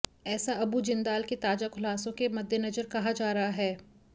ऐसा अबू जिंदाल के ताजा खुलासों के मद्देनजर कहा जा रहा है